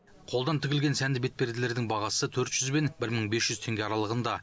қолдан тігілген сәнді бетперделердің бағасы төрт жүз бен бір мың бес жүз теңге аралығында